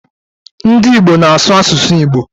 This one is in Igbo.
Ndị Igbo na-asụ asụsụ Igbo.